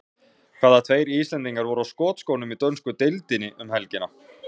Hvaða tveir Íslendingar voru á skotskónum í dönsku deildinni um helgina?